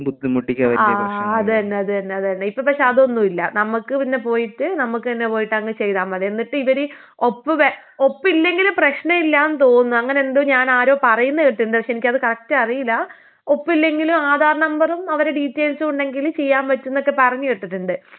ആഹ് അത് തന്നെ അത് തന്നെ അത് തന്നേ, ഇപ്പൊ പക്ഷേ അതൊന്നും ഇല്ലാ നമ്മക്ക് തന്നെ പോയിട്ട് നമ്മക്കന്നെ പോയിട്ട് അങ്ങ് ചെയ്താ മതി എന്നിട്ട് ഇവര് ഒപ്പ് ഒപ്പില്ലെങ്കിലും പ്രശ്നം ഇല്ലാന്ന് തോന്നുന്നു അങ്ങനെന്തോ ഞാനാരോ പറയുന്ന കേട്ടു പക്ഷെ എനിക്കത് കറക്റ്റ് അറീലാ.ഒപ്പില്ലെങ്കിലും ആധാർ നമ്പറും അവരെ ഡീറ്റെയിൽസും ഉണ്ടെങ്കില് ചെയ്യാൻ പറ്റുന്നൊക്ക പറഞ്ഞ് കേട്ടിട്ടുണ്ട്. ആഹ്.